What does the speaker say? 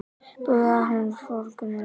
Búðahraun í forgrunni.